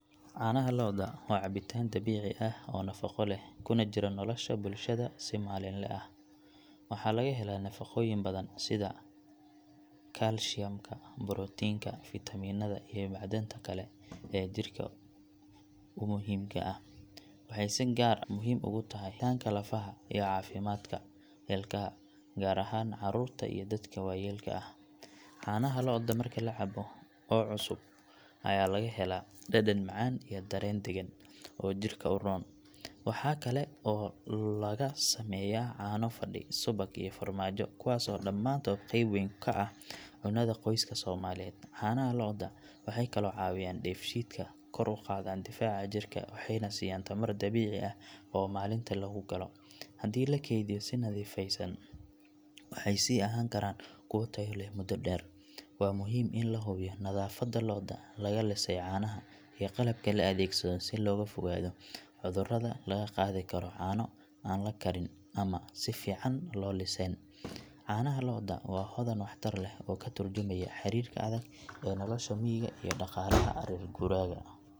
Caanaha lo'da waa cabitaan dabiici ah oo nafaqo leh kuna jira nolosha bulshada si maalinle ah. Waxaa laga helaa nafaqooyin badan sida kaalshiyamka, borotiinka, fitamiinada iyo macdanta kale ee jirka u muhiimka ah. Waxay si gaar ah muhiim ugu tahay koritaanka lafaha iyo caafimaadka ilkaha gaar ahaan carruurta iyo dadka waayeelka ah. Caanaha lo'da marka la cabo oo cusub ayaa laga helaa dhadhan macaan iyo dareen deggan oo jidhka u roon. Waxa kale oo laga sameeyaa caano fadhi, subag, iyo farmaajo kuwaas oo dhamaantood qeyb weyn ka ah cunnada qoyska Soomaaliyeed. Caanaha lo'da waxay kaloo caawiyaan dheefshiidka, kor u qaadaan difaaca jirka waxayna siiyaan tamar dabiici ah oo maalinta lagu galo. Haddii la kaydiyo si nadaafadeysan waxay sii ahaan karaan kuwo tayo leh muddo dheer. Waa muhiim in la hubiyo nadaafadda lo’da laga lisay caanaha iyo qalabka la adeegsado si looga fogaado cudurada laga qaadi karo caano aan la karin ama aan si fiican loo liseen. Caanaha lo'da waa hodan waxtar leh oo ka tarjumaya xiriirka adag ee nolosha miyiga iyo dhaqaalaha reer guuraaga.